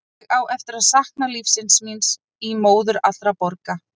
Ég á eftir að sakna lífsins míns í móður allra borga.